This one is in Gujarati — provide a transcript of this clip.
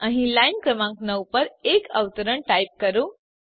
અહીં લાઈન ક્રમાંક 9 પર એક અવતરણ ટાઈપ કરો